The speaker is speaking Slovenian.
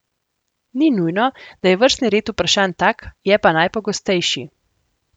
Ni nujno, da je vrstni red vprašanj tak, je pa najpogostejši.